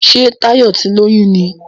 Ṣe Tayo tí lóyún ní?